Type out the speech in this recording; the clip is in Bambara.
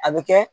A bɛ kɛ